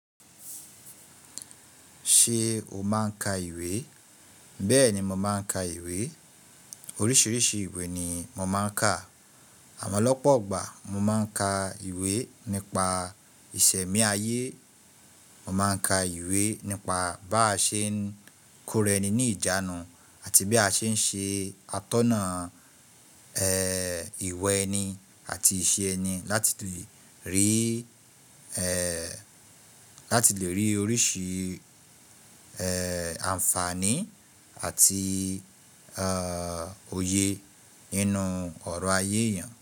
Ṣé o máa ń ka ìwé? Bẹ́ẹ̀ni, mo máa ń ka ìwé. Oríṣiríṣi ìwé ni mo máa ń ka. Àmọ́ lọ́pọ̀ ọgbà mo máa ń ka ìwé nípa ìṣẹ̀mí ayé. Mo máa ń ka ìwé nípa bá ṣe ń kórè ẹni ní ìjánu àti bí a ṣe ń ṣe atọ́nà ìwa ẹni àti ìṣe ẹni láti lè rí oríṣi àǹfààní àti òye nínú ọ̀rọ̀ ayé èèyàn.